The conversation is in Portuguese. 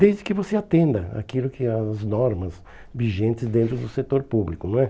Desde que você atenda aquilo que as normas vigentes dentro do setor público, não é?